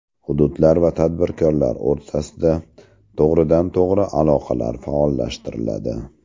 Hududlar va tadbirkorlar o‘rtasida to‘g‘ridan-to‘g‘ri aloqalar faollashtiriladi.